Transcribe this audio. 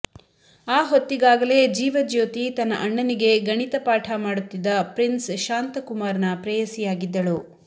ಆಹೊತ್ತಿಗಾಗಲೇ ಜೀವಜ್ಯೋತಿ ತನ್ನ ಅಣ್ಣನಿಗೆ ಗಣಿತ ಪಾಠ ಮಾಡುತ್ತಿದ್ದ ಪ್ರಿನ್ಸ್ ಶಾಂತಕುಮಾರ್ನ ಪ್ರೇಯಸಿಯಾಗಿದ್ದಳು